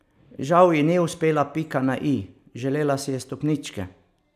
Žal ji ni uspela pika na i, želela si je stopničke.